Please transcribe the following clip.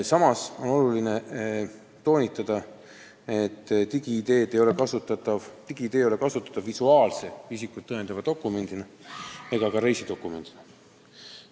Samas on oluline toonitada, et digi-ID ei ole kasutatav visuaalse isikut tõendava dokumendina ega ka reisidokumendina.